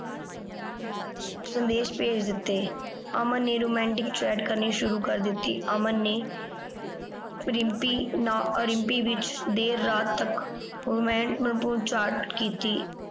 ਸੰਦੇਸ਼ ਭੇਜ ਦਿੱਤੇ। ਅਮਨ ਨੇ romantic chat ਕਰਨੀ ਸ਼ੁਰੂ ਕਰ ਦਿੱਤੀ। ਅਮਨ ਨੇ ਰਿੰਪੀ ਰਿੰਪੀ ਵਿਚ ਦੇਰ ਰਾਤ ਤੱਕ chat ਕੀਤੀ।